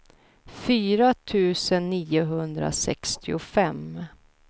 fyra tusen niohundrasextiofem